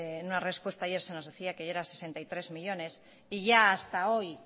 en una respuesta ayer se nos decía que ya eran sesenta y tres millónes y ya hasta hoy